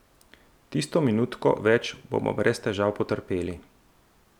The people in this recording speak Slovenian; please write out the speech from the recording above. Tisto minutko več bomo brez težav potrpeli.